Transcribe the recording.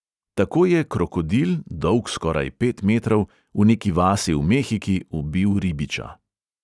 Tako je krokodil, dolg skoraj pet metrov, v neki vasi v mehiki ubil ribiča.